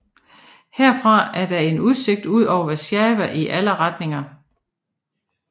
Herfra er der en udsigt ud over Warszawa i alle retninger